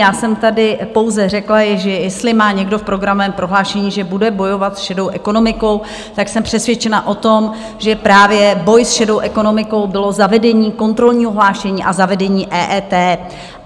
Já jsem tady pouze řekla, že jestli má někdo v programovém prohlášení, že bude bojovat s šedou ekonomikou, tak jsem přesvědčena o tom, že právě boj s šedou ekonomikou bylo zavedení kontrolního hlášení a zavedení EET.